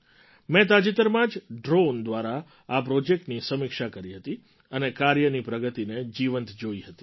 મેં તાજેતરમાં જ ડ્રૉન દ્વારા આ પ્રૉજેક્ટની સમીક્ષા કરી હતી અને કાર્યની પ્રગતિને જીવંત જોઈ હતી